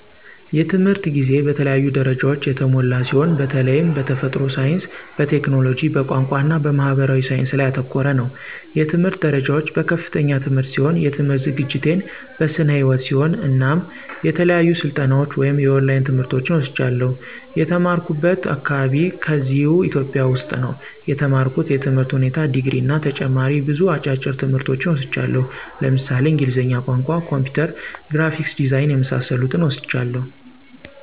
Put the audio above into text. የትምህርት ጊዜ በተለያዩ ደረጃዎች የተሞላ ሲሆን በተላይም በተፈጥሮ ሳይንስ፣ በቴክኖሎጂ፣ በቋንቋ እና በማህበራዊ ሳይንስ ላይ ያተኮረ ነው። የትምህርት ደረጃዎች፦ በከፍተኛ ትምህርት ሲሆን የትምህርት ዝግጅቴን በስነ ህይወት ሲሆን እናም የተለያዩ ስልጠናዎች ወይም የኦላይን ትምህርቶችን ወስጃለሁ። የተማራኩበት አካባቢ ከዚህው ኢትዮጵያ ውስጥ ነው የተማርኩት የትምህር ሁኔታ ድግሪ እና ተጨማሪ ብዙ አጫጭር ትምህርቶች ወስጃለሁ ለምሳሌ እንግሊዝኛ ቋንቋ፣ ኮምፒውተር፣ ግራፊክስ ዲዛይን የመሳሰሉትን ወስጃለሁ።